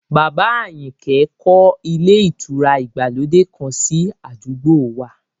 Bàbá Àyìnkẹ́ kọ́ ilé ìtura ìgbàlódé kan sí àdúgbò wa